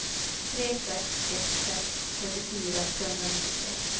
tre sex ett sex trettiofyra trehundranittiotre